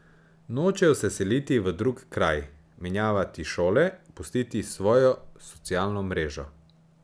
Nočejo se seliti v drug kraj, menjavati šole, pustiti svojo socialno mrežo.